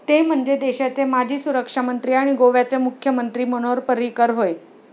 ते म्हणजे, देशाचे माजी सुरक्षामंत्री आणि गोव्याचे मुख्यमंत्री मनोहर पर्रीकर होय.